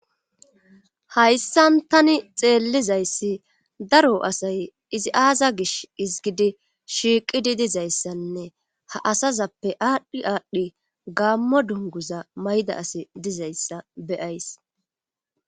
hayssan tani xeellizayssi daro asay izi aaza gish izgidi shiiqidi dizayssanne ha asazappe aadhdhi aadhdhi gaammo dunguza mayda asi dizayssa beyays